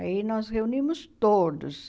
Aí nós reunimos todos.